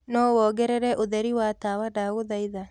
no wongerere utherĩ wa tawa ndagũhaĩtha